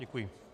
Děkuji.